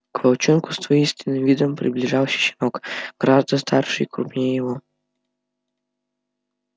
к волчонку с воинственным видом приближался щенок гораздо старше и крупнее его